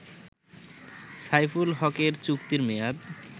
সাইফুল হকের চুক্তির মেয়াদ